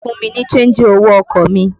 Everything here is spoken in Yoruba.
Fún mi ní ṣéńjì owó ọkọ̀ mi!